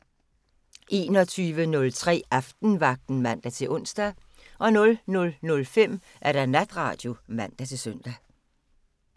21:03: Aftenvagten (man-ons) 00:05: Natradio (man-søn)